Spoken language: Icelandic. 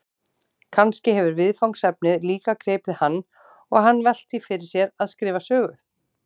Kannski hefur viðfangsefnið líka gripið hann og hann velt því fyrir sér að skrifa sögu?